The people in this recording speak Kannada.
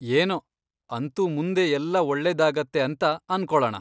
ಏನೋ ಅಂತೂ ಮುಂದೆ ಎಲ್ಲ ಒಳ್ಳೆದಾಗತ್ತೆ ಅಂತ ಅನ್ಕೊಳಣ.